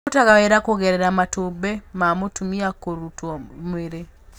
Irutaga wĩra kũgerera matumbĩ ma mũtumia kũrutwo mwĩrĩ.